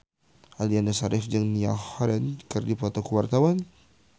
Aliando Syarif jeung Niall Horran keur dipoto ku wartawan